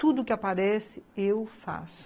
Tudo que aparece, eu faço.